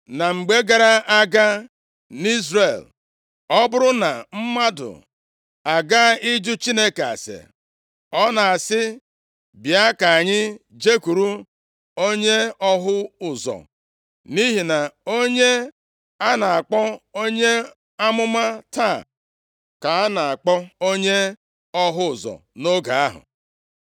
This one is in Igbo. (Na mgbe gara aga nʼIzrel, ọ bụrụ na mmadụ agaa iju Chineke ase, ọ na-asị, “Bịa ka anyị jekwuru onye ọhụ ụzọ,” nʼihi na onye a na-akpọ onye amụma taa, ka a na-akpọ onye ọhụ ụzọ nʼoge ahụ).